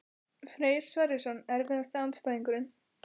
Freyr Sverrisson Erfiðasti andstæðingur?